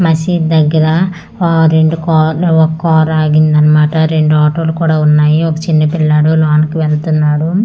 మసీద్ దగ్గర ఆ రెండు కార్లు ఒక్కారు ఆగింది అన్మాట రెండు ఆటోలు కూడా ఉన్నాయి ఒక చిన్న పిల్లోడు లోనకి వెళ్తున్నాడు.